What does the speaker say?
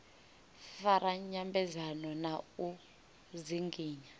fara nyambedzano na u dzinginya